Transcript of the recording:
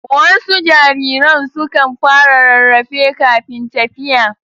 Wasu jariran sukan fara rarrafe kafin tafiya.